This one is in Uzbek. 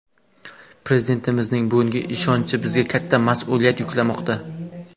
Prezidentimizning bugungi ishonchi bizga katta mas’uliyat yuklamoqda.